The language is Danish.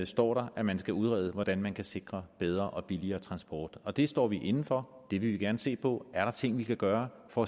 står der at man skal udrede hvordan man kan sikre bedre og billigere transport og det står vi inde for det vil vi gerne se på er der ting vi kan gøre for